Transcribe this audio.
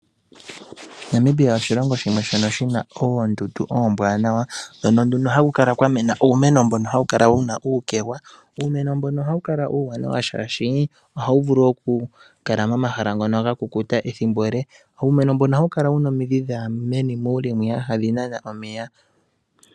Namibia oshilongo shimwe shina oondundu oombwanawa noha ku kala kwamenauumeno mbono wuna uukegwa. Uumeno mbono ohawu kala uuwanawa shaashi ohawu vulu oku kala momahala ngono ga kukuta ethimbo ele, nohawu kala wuna omidhi dhaya muule dhokunana omeya.